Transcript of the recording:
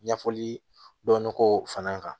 Ɲɛfɔli dɔnn ko fana kan